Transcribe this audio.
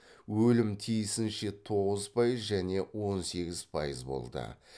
өлім тиісінше тоғыз пайыз және он сегіз пайыз болды